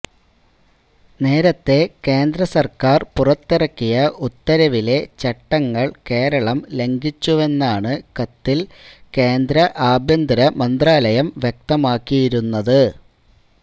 നേരത്തേ കേന്ദ്രസർക്കാർ പുറത്തിറക്കിയ ഉത്തരവിലെ ചട്ടങ്ങൾ കേരളം ലംഘിച്ചുവെന്നാണ് കത്തിൽ കേന്ദ്ര ആഭ്യന്തരമന്ത്രാലയം വ്യക്തമാക്കിയിരുന്നത്